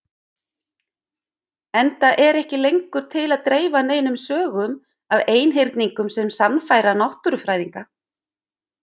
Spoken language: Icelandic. Enda er ekki lengur til að dreifa neinum sögum af einhyrningum sem sannfæra náttúrufræðinga.